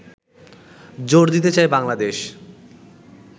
জোর দিতে চায় বাংলাদেশ